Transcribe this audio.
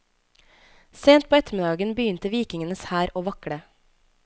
Sent på ettermiddagen begynte vikingenes hær å vakle.